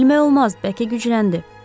Bilmək olmaz, bəlkə gücləndi.